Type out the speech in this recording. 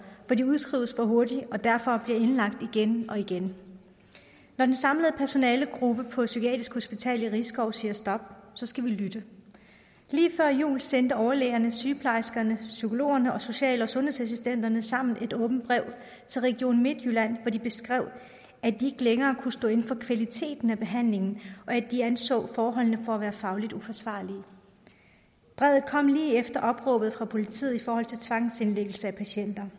hvor de udskrives for hurtigt og derfor bliver indlagt igen og igen når den samlede personalegruppe på psykiatrisk hospital i risskov siger stop skal vi lytte lige før jul sendte overlægerne sygeplejerskerne psykologerne og social og sundhedsassistenterne sammen et åbent brev til region midtjylland hvori de beskrev at de længere kunne stå inde for kvaliteten af behandlingen og at de anså forholdene for at være fagligt uforsvarlige brevet kom lige efter opråbet fra politiet i forhold til tvangsindlæggelse af patienter